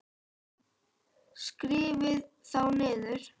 Skrifið þá niður.